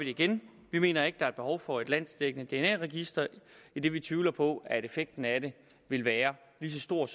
igen vi mener ikke der er behov for et landsdækkende dna register idet vi tvivler på at effekten af det vil være så stor